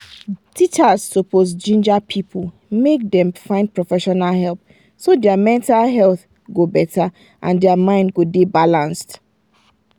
teachers suppose ginger people make dem find professional help so their mental health go better and their mind go dey balanced.